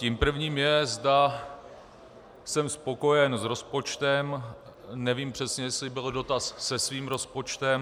Tím prvním je, zda jsem spokojen s rozpočtem, nevím přesně, jestli byl dotaz se svým rozpočtem.